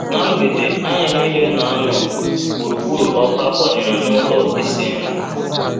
Ná mgbede, anyị niile na - anọ gburugburu ọkụ a kwanyere n’ụlọ isi nri..